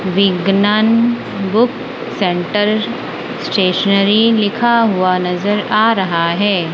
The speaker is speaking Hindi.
विग्नान बुक सेंटर स्टेशनरी लिखा हुआ नज़र आ रहा है।